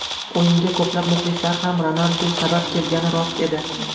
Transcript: O‘yinga ko‘plab muxlislar ham Ronaldu sabab kelgani rost edi.